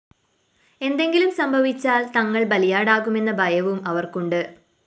എന്തെങ്കിലും സംഭവിച്ചാല്‍ തങ്ങള്‍ ബലിയാടാകുമെന്ന ഭയവും അവര്‍ക്കുണ്ട്